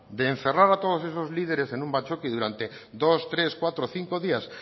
de encerrar a todos esos líderes en un batzoki durante dos tres cuatro cinco días